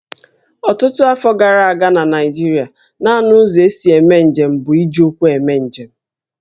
Ọtụtụ afọ gara aga na Naịjirịa, nanị ụzọ e si eme njem bụ iji ụkwụ eme njem